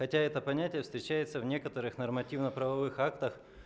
хотя это понятие встречается в некоторых нормативно-правовых актах